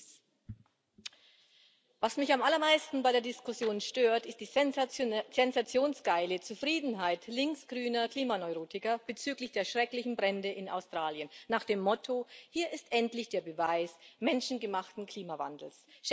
Frau Präsidentin! Was mich am allermeisten bei der Diskussion stört, ist die sensationsgeile Zufriedenheit linksgrüner Klimaneurotiker bezüglich der schrecklichen Brände in Australien nach dem Motto Hier ist endlich der Beweis menschengemachten Klimawandels.